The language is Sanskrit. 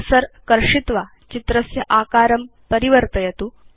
कर्सर कर्षित्वा चित्रस्य आकारं परिवर्तयतु